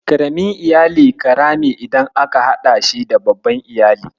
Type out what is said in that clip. Ƙaramin iyali ƙarami idan aka haɗa shi da babban Iyali.